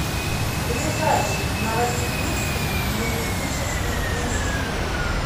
ближайший новосибирский юридический институт